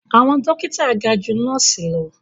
Àwọn dókítà ga ju nọ́ọ̀sì lọ